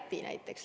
No Läti näiteks.